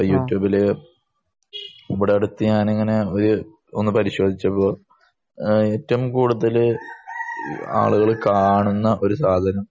യൂട്യൂബില് ഈയടുത്തു ഞാൻ ഇങ്ങനെ പരിശോധിച്ചപ്പോഴ് ഏറ്റവും കൂടുതൽ ആളുകൾ കാണുന്ന